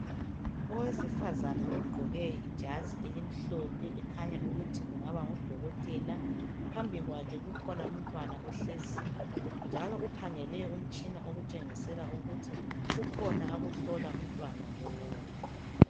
Owesifazana ogqoke ijazi elimhlophe, ekhanya ukuthi kungaba ngudokotela. Phambi kwakhe kukhona umntwana ohleziyo, njalo ukhangele umtshina. Okuthengisa ukuthi kukhona akuhlola umntwana lowo.